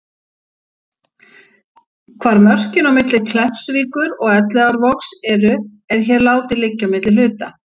Hvar mörkin á milli Kleppsvíkur og Elliðaárvogs eru, er hér látið liggja á milli hluta.